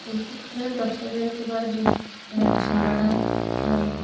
ଏହି ଚିତ୍ରରେ ଦର୍ଶା ଯାଇଥିବା ଝ ଝରଣା ଆ --